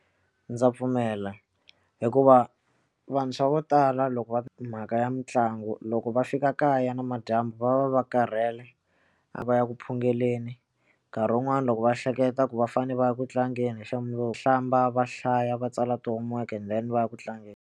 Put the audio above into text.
Ndza pfumela hikuva vantshwa vo tala loko va twa mhaka ya mitlangu loko va fika kaya na madyambu va va va karhele a va ya ku phungeleni nkarhi wun'wani loko va hleketa ku va fanele va ya ku tlangeni xa hlamba va hlaya va tsala ti-homework-i and then va ya ku tlangeni.